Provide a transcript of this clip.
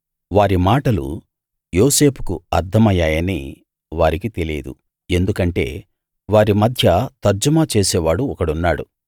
వారి మాటలు యోసేపుకు అర్థమయ్యాయని వారికి తెలియదు ఎందుకంటే వారి మధ్య తర్జుమా చేసేవాడు ఒకడున్నాడు